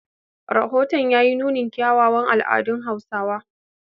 Rahoton ya yi nunin kyawawan al'adun Hausa.